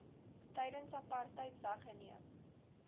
tydens apartheid weggeneem